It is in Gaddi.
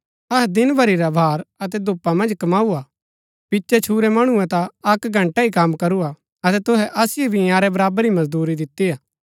अहै दिन भरी रा भार अतै धूपा मन्ज कमाऊ हा पिचै छुरै मणुऐ ता अक्क घंटा ही कम करू हा अतै तुहै असिओ भी इन्यारै बराबर ही मजदूरी दितिआ